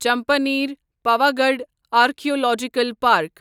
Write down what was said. Champaner Pavagadh archaeological park